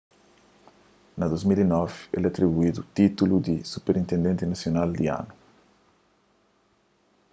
na 2009 el atribuídu títulu di superintendenti nasional di anu